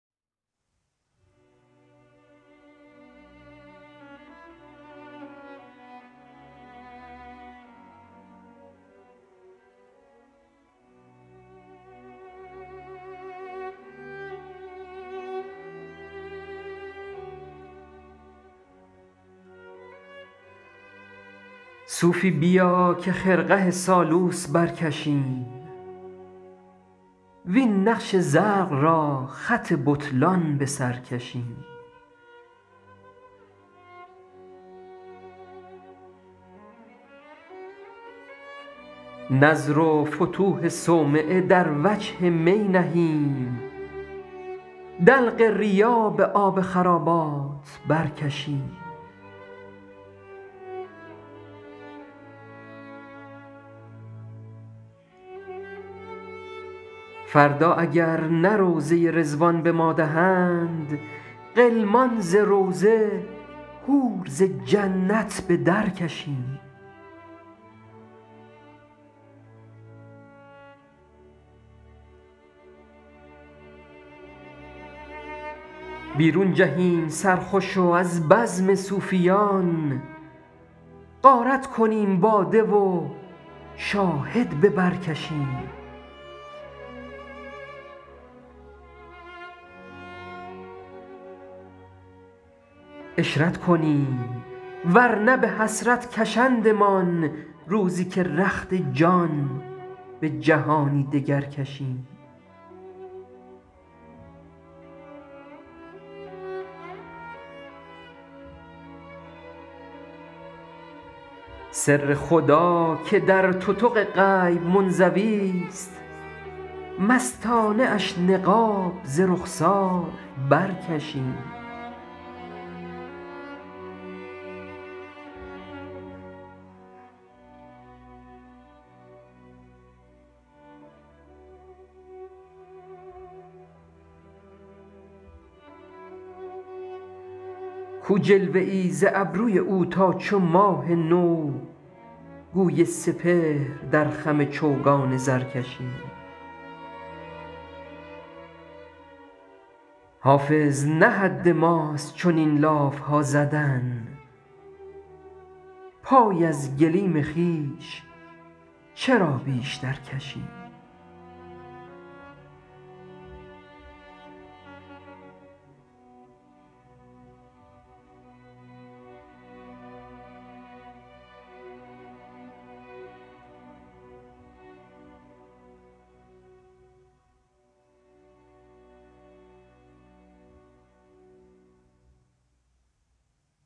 صوفی بیا که خرقه سالوس برکشیم وین نقش زرق را خط بطلان به سر کشیم نذر و فتوح صومعه در وجه می نهیم دلق ریا به آب خرابات برکشیم فردا اگر نه روضه رضوان به ما دهند غلمان ز روضه حور ز جنت به درکشیم بیرون جهیم سرخوش و از بزم صوفیان غارت کنیم باده و شاهد به بر کشیم عشرت کنیم ور نه به حسرت کشندمان روزی که رخت جان به جهانی دگر کشیم سر خدا که در تتق غیب منزویست مستانه اش نقاب ز رخسار برکشیم کو جلوه ای ز ابروی او تا چو ماه نو گوی سپهر در خم چوگان زر کشیم حافظ نه حد ماست چنین لاف ها زدن پای از گلیم خویش چرا بیشتر کشیم